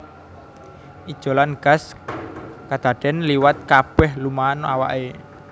Ijolan gas kadadèn liwat kabèh lumahan awaké